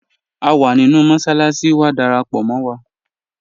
À wà nínu mọ́ṣaláṣi, wà dáràpọ̀ mọ́ wa